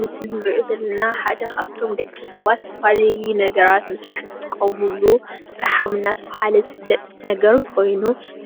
ምስሊ ንሪኦ ዘለና ሓደ ካብቶም ደቂ ሰባት ዝተፈላለለዩ ነጋራት ንምስራሕ ዝጥቀምሉ ፈሓም እናተብሃለ ዝፍለጥ ነገር ኮይኑ